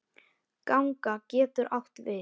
Ganga getur átt við